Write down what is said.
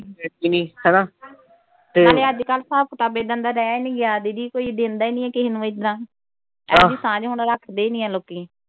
ਹੈ ਕਿ ਨਈਂ ਹਨਾ। ਨਾਲੇ ਅੱਜ ਕੱਲ ਹਿਸਾਬ ਕਿਤਾਬ ਏਦਾਂ ਦਾ ਰਹਿ ਨਈਂ ਗਿਆ ਦੀਦੀ ਕੋਈ ਦਿੰਦਾ ਈ ਨਈਂ ਕਿਸੇ ਨੂੰ ਏਦਾਂ . ਹੁਣ ਰੱਖਦੇ ਨਈਂ ਆ ਲੋਕੀਂ।